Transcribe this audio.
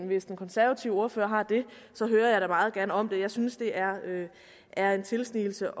hvis den konservative ordfører har det hører jeg da meget gerne om det jeg synes det er er en tilsnigelse